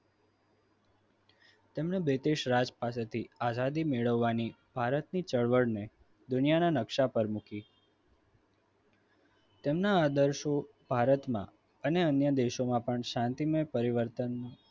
તેમની british રાજ પાસેથી આઝાદી મેળવવાની ભારતની ચળવળમાં દુનિયાના નકશા પર મૂકી તેમના આદર્શો ભારતમાં અને અન્ય દેશોમાં પણ શાંતિમય પરિવર્તન